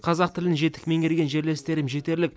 қазақ тілін жетік меңгерген жерлестерім жетерлік